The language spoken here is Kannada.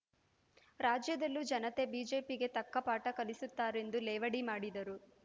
ರಾಜ್ಯದಲ್ಲೂ ಜನತೆ ಬಿಜೆಪಿಗೆ ತಕ್ಕ ಪಾಠ ಕಲಿಸುತ್ತಾರೆಂದು ಲೇವಡಿ ಮಾಡಿದರು